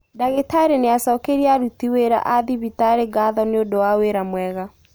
Ndagĩtarĩ nĩacokeirĩe aruti wĩra a thibitarĩ ngatho nĩũndu wa wĩra mwega